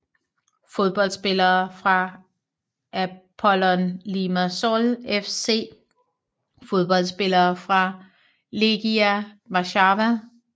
Fodboldspillere fra Apollon Limassol FC Fodboldspillere fra Legia Warszawa